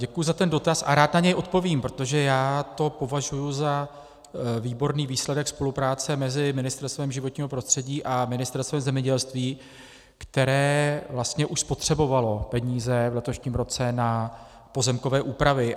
Děkuji za ten dotaz a rád na něj odpovím, protože já to považuji za výborný výsledek spolupráce mezi Ministerstvem životního prostředí a Ministerstvem zemědělství, které vlastně už spotřebovalo peníze v letošním roce na pozemkové úpravy.